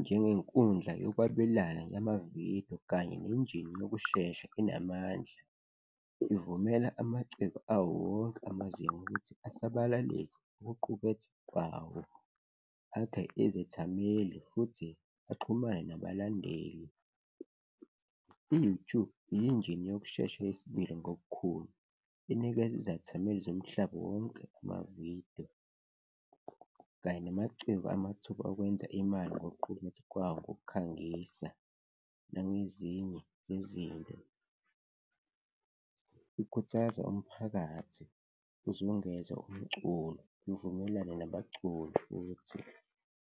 njengenkundla yokwabelana yamavidiyo kanye nenjini yokushesha enamandla. Ivumela amaciko awo wonke amazinga ukuthi asabalalise ukuqukethwa kwawo, akha izethameli futhi axhumana nabalandeli. I-YouTube yinjini yokushesha yesibili ngobukhulu, inikeza izethameli zomhlaba wonke amavidiyo kanye namaciko amathuba okwenza imali ngokuqukethwa kwawo ngokukhangisa nangezinye zezinto, ikhuthaza umphakathi uzungeze umculo ivumelane nabaculi futhi.